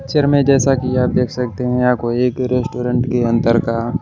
picture में जैसा कि आप देख सकते हैं यह कोई एक रेस्टोरेंट के अंदर का--